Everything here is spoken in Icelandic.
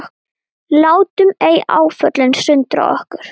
Látum ei áföllin sundra okkur.